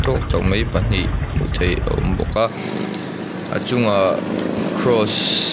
mai pahnih hmu thei a awm bawk a a chungah kraws --